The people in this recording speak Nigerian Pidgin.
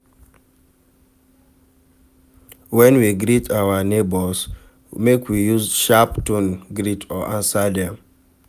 When we de greet our neighbours make we use sharp tone greet or answer dem